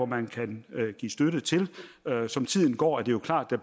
man kan give støtte til som tiden går er det jo klart at